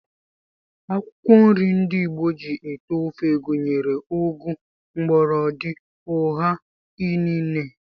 Akwụkwọ nri ndị Igbo ji ete ofe gụnyere ụgụ, mgbọlọdị, ụha, inine